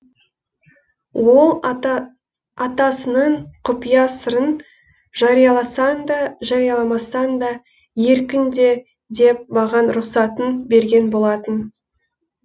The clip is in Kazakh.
ол атасының құпия сырын жарияласаң да жарияламасаң да еркіңде деп маған рұқсатын берген болатын